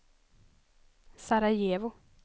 Sarajevo